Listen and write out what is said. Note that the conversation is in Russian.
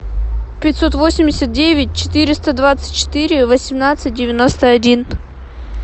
пятьсот восемьдесят девять четыреста двадцать четыре восемнадцать девяносто один